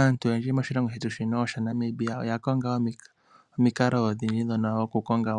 Aantu oyendji mosilongo shetu shika shaNamibia oya konga omikalo odhindji dhokukonga